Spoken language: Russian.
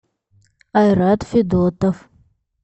айрат федотов